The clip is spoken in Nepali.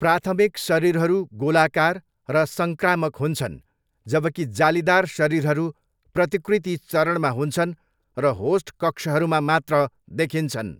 प्राथमिक शरीरहरू गोलाकार र सङ्क्रामक हुन्छन्, जबकि जालीदार शरीरहरू प्रतिकृति चरणमा हुन्छन् र होस्ट कक्षहरूमा मात्र देखिन्छन्।